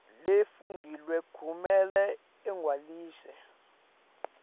lefungelwe kumele igcwaliswe